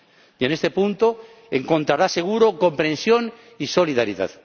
Y, en este punto, encontrará seguro comprensión y solidaridad.